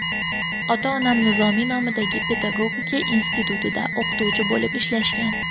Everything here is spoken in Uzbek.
Ota-onam Nizomiy nomidagi pedagogika institutida o‘qituvchi bo‘lib ishlashgan.